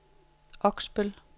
Oksbøl